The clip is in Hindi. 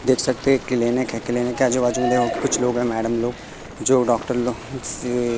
देख सकते है एक क्लिनिक है क्लिनिक के आजु बाजू देखो में कुछ लोग है मैडम लोग जो डॉक्टर लोग से--